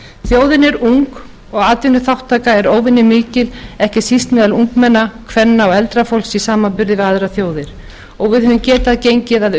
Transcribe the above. þjóðin er ung og atvinnuþátttaka er óvenjumikil ekki síst meðal ungmenna kvenna og eldra fólks í samanburði við aðrar þjóðir og að geta gengið að